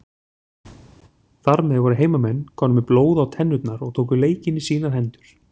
Þar með voru heimamenn komnir með blóð á tennurnar og tóku leikinn í sínar hendur.